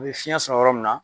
U bi fiyɛn sɔrɔ yɔrɔ min na.